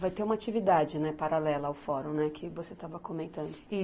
Vai ter uma atividade, né, paralela ao fórum, né, que você estava comentando.